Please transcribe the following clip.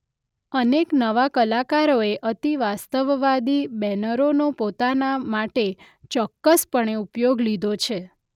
અનેક નવા કલાકારોએ અતિવાસ્તવવાદી બેનરોનો પોતાના માટે ચોક્કસપણે ઉપયોગ લીધો છે.